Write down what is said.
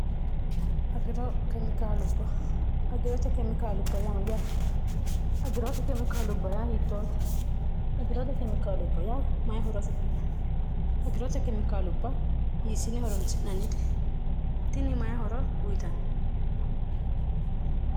agirote kemikaalubba ya ya agirote kemikaalubba ya hiittoote agirote kemikaalubba yaa mayi horo fidhino agiroote kemikaalubba hiisine horanchi'nannititini mayihora uyitaanni